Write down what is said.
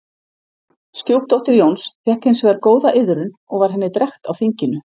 Stjúpdóttir Jóns fékk hins vegar góða iðrun og var henni drekkt á þinginu.